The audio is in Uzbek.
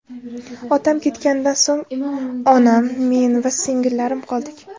Otam ketganidan so‘ng onam, men va singillarim qoldik.